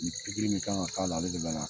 Ni i min kan k'a la ale de bɛ na